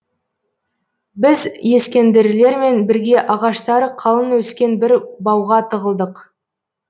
біз ескендірлермен бірге ағаштары қалың өскен бір бауға тығылдық